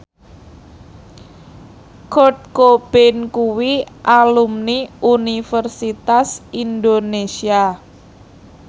Kurt Cobain kuwi alumni Universitas Indonesia